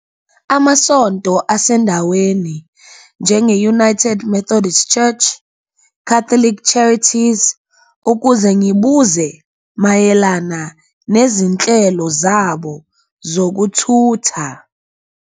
Amasonto asendaweni njenge-United Methodist Church, Catholic Charities, ukuze ngibuze mayelana nezinhlelo zabo zokuthutha.